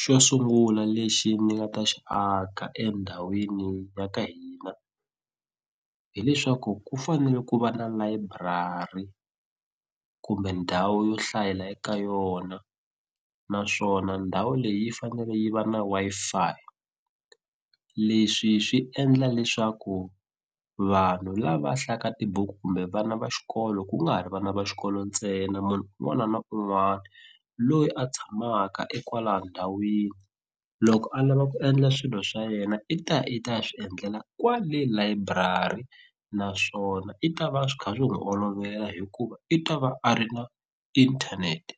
Xo sungula lexi ni nga ta xi aka endhawini ya ka hina hileswaku ku fanele ku va na layiburari kumbe ndhawu yo hlayela eka yona naswona ndhawu leyi yi fanele yi va na Wi-Fi leswi swi endla leswaku vanhu lava hlayaka tibuku kumbe vana va xikolo ku nga ha ri vana va xikolo ntsena munhu un'wana na un'wana loyi a tshamaka ekwala ndhawini loko a lava ku endla swilo swa yena i ta ya i ta ya swi endlela kwale layiburari naswona i ta va swi kha swi n'wi olovela hikuva i ta va a ri na inthanete